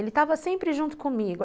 Ele estava sempre junto comigo.